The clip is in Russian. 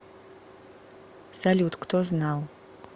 салют кто знал